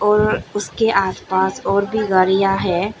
और उसके आसपास और भी गाड़ियां है।